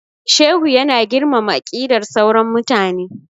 Shehu ya na girmama aqidar sauran mutane